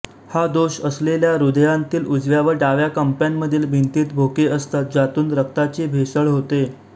हा दोष असलेल्या हृदयांतील उजव्या व डाव्या कप्प्यांमधील भिंतीत भोके असतात ज्यातून रक्ताची भेसळ होते